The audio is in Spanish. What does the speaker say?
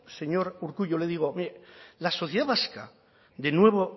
señor urkullu yo le digo la sociedad vasca de nuevo